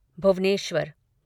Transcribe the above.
Bhubaneswar